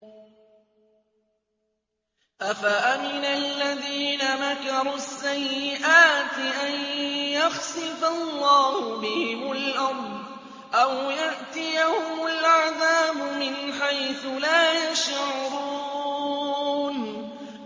أَفَأَمِنَ الَّذِينَ مَكَرُوا السَّيِّئَاتِ أَن يَخْسِفَ اللَّهُ بِهِمُ الْأَرْضَ أَوْ يَأْتِيَهُمُ الْعَذَابُ مِنْ حَيْثُ لَا يَشْعُرُونَ